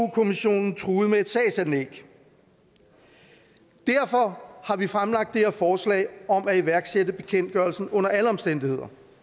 kommissionen truede med et sagsanlæg derfor har vi fremlagt det her forslag om at iværksætte bekendtgørelsen under alle omstændigheder